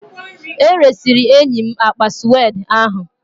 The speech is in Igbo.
E resịrị enyi m akpa suede ahụ